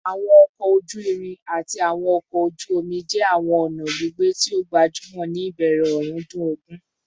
Awọn ọkọ oju-irin ati awọn ọkọ oju omi jẹ awọn ọna gbigbe ti o gbajumọ ni ibẹrẹ ọrundun ogun